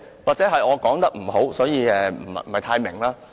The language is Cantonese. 或許是我說得不好，所以你不太明白。